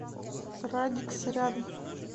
радикс рядом